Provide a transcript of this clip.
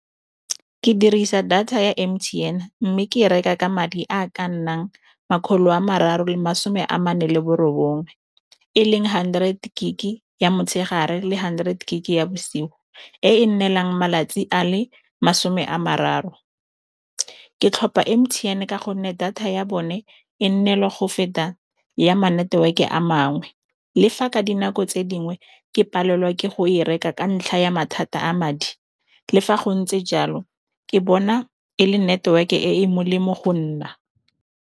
Ke dirisa data ya M_T_N-e mme ke e reka ka madi a ka nnang makgolo a mararo le masome a mane le borobongwe, e leng hundred gig-e ya motshegare le hundred gig-e ya bosigo e e nnelang malatsi a le masome a mararo. Ke tlhopha M_T_N-e ka gonne data ya bone e nne le go feta ya ma-network-e a mangwe le fa ka dinako tse dingwe ke palelwa ke go e reka ka ntlha ya mathata a madi le fa go ntse jalo ke bona e le network e e molemo go nna.